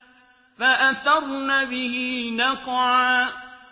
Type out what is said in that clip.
فَأَثَرْنَ بِهِ نَقْعًا